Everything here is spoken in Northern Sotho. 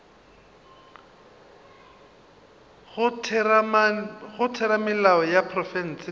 go theramelao ya profense ka